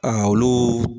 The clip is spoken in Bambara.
olu